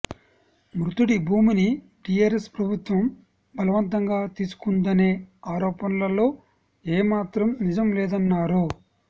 మృతుడి భూమిని టీఆర్ఎస్ ప్రభుత్వం బలవంతంగా తీసుకుందనే ఆరోపణలల్లో ఏ మాత్రం నిజం లేదన్నారు